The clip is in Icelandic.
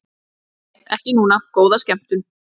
Nei, ekki núna, góða skemmtun.